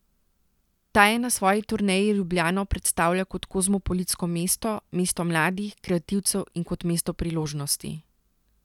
Ta je na svoji turneji Ljubljano predstavljal kot kozmopolitsko mesto, mesto mladih, kreativcev in kot mesto priložnosti.